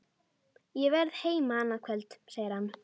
Ég verð heima annað kvöld, segir hann.